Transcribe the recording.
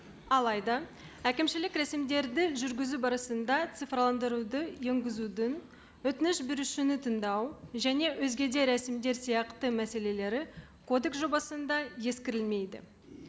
алайда әкімшілік рәсімдерді жүргізу барысында цифрландыруды енгізудің өтініш берушіні тыңдау және өзге де рәсімдер сияқты мәселелері кодекс жобасында ескерілмейді